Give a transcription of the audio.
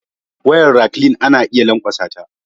Wayar raklin anayi lankwasata